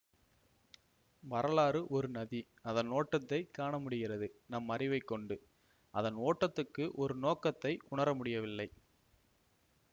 வரலாறு ஒரு நதி அதன் ஓட்டத்தைக் காணமுடிகிறது நம் அறிவைக்கொண்டு அதன் ஓட்டத்துக்கு ஒரு நோக்கத்தை உணர முடியவில்லை